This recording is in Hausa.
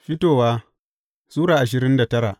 Fitowa Sura ashirin da tara